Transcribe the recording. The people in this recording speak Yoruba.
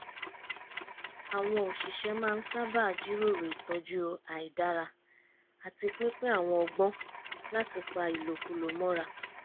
àwọn òṣìṣẹ́ máa ń sábà jíròrò ìtọ́jú àìdára àti pínpín àwọn ọgbọ́n láti pa ìlòkulò mọ́ra